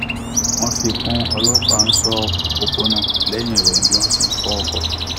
wọn fi kún ọlọpàá ṣọ òpópónà lẹyìn ìròyìn bí wọn ṣe ń fó ọkọ